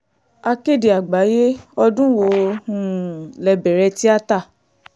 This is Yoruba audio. akéde àgbáyé ọdún wo um lè bẹ̀rẹ̀ tíátá